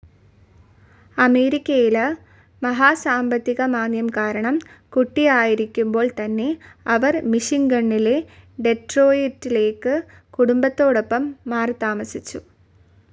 അമേരിക്കയില മഹാസാമ്പത്തികമാന്ദ്യം കാരണം, കുട്ടിയായിരിക്കുമ്പോൾ തന്നെ അവർ മിഷിഗണിലെ ഡെറ്റ്രോയ്റ്റിലേക്ക് കുടുംബത്തോടൊപ്പം മാറിത്താമസിച്ചു.